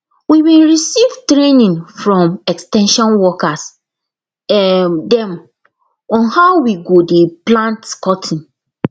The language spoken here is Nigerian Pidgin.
we bin receive training from ex ten sion workers um dem on how we go dey plant cotton